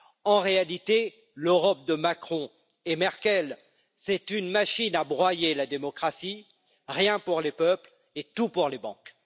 En réalité, l'Europe de Macron et Merkel, c'est une machine à broyer la démocratie rien pour les peuples et tout pour les banques.